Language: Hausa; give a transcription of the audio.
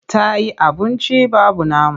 Ta yi abunci babu nama.